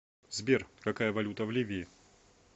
сбер какая валюта в ливии